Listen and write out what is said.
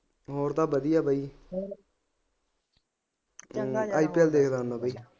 ਹੋਰ ਤਾਂ ਵਧੀਆ ਬਾਈ ਇੱਧਰ ਦੇਖ ਲੈਂਦਾ ਬਾਈ